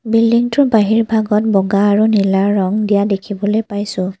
Building টোৰ বাহিৰ ভাগত বগা আৰু নীলা ৰং দিয়া দেখিবলৈ পাইছোঁ।